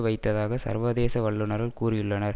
வைத்ததாக சர்வதேச வல்லுனர்கள் கூறியுள்ளனர்